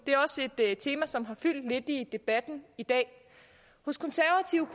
det er også et tema som har fyldt lidt i debatten i dag hos konservative